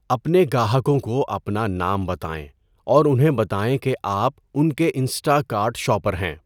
اپنے گاہکوں کو اپنا نام بتائیں اور انہیں بتائیں کہ آپ ان کے انسٹا کارٹ شاپر ہیں۔